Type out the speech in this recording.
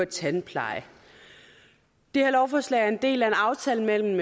tandpleje det her lovforslag er en del af en aftale mellem